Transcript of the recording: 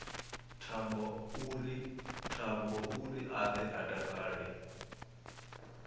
thambouri a ḓe a takale